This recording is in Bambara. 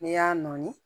N'i y'a nɔɔni